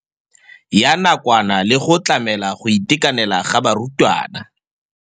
Ya nakwana le go tlamela go itekanela ga barutwana.